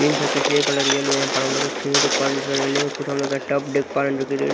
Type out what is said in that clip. pink है किसी ये कलर येलो है पर हम लोग एक सीढ़ी देख पा रहे हैं जिसका रेलिंग है कुछ हम लोग टब देख पा रहे जो कि रे--